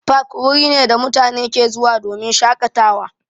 Fak wuri ne da mutane ke zuwa domin shaƙatawa.